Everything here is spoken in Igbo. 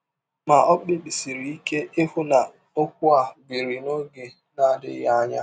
Ma, ọ kpebisiri ike ịhụ na ọkwụ a biri n’ọge na - adịghị anya.